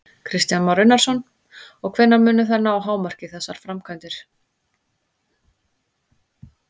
Kristján Már Unnarsson: Og hvenær munu þær ná hámarki, þessar framkvæmdir?